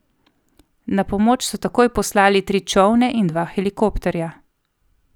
Na pomoč so takoj poslali tri čolne in dva helikopterja.